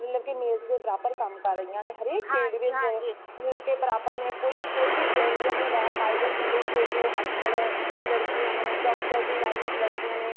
ਬਲਕੀ male ਦੇ ਬਰਾਬਰ ਕਾਮ ਕਰ ਰਹੀਆਂ ਨੇ ਹਰ ਇਕ ਚੀਜ ਵਿੱਚ male ਦੇ ਬਰਾਬਰ ਨੇ , ਕੋਈ ਵੀ, ਕੋਈ ਵੀ ਇਹੋ ਜਿਯਾ ਨਹੀਂ ਹੇਗਾ pilot ਦੇਖ ਲੋ ਅੱਜ ਕਲ ਲੜਕੀਆਂ ਨੇ ,doctor ਦੀ line ਵਿੱਚ ਲੜਕੀਆਂ ਨੇ।